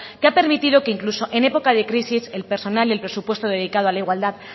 que ha permitido que incluso en época de crisis el personal y el presupuesto dedicado a la igualdad